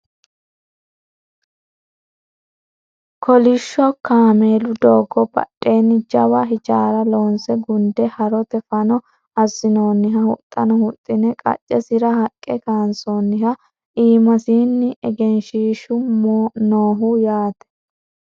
kolishsho kameelu doogo badheenni jawa hijaara loonse gunde horote fano assinoonniha huxxano huxxine qaccesira haqqe kaansoonniha iimasino egenshiishshu nooho yaate